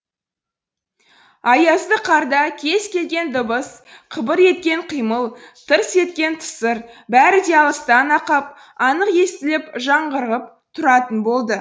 аязды қарда кез келген дыбыс қыбыр еткен қимыл тырс еткен тысыр бәрі де алыстан ақ ап анық естіліп жаңғырығып тұратын болды